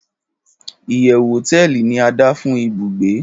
iyewu hoteeli ni ada fun ibùgbé